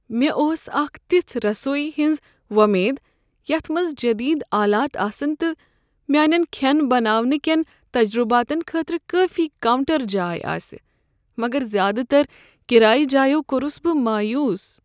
مےٚ اوس اکہ تژھہِ رسویہِ ہنز وۄمید یتھ منٛز جدید آلات آسن تہٕ میٛانٮ۪ن کھین بناونہٕ كین تجرباتن خٲطرٕ کٲفی کاونٛٹر جاے آسہ، مگر زیٛادٕ تر کرایہ جایو کوٚرس بہٕ مایوٗس۔